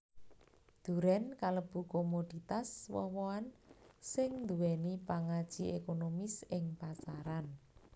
Durèn kalebu komoditas woh wohan sing nduwèni pangaji ékonomis ing pasaran